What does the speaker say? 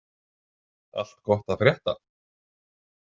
Allt gott að frétta?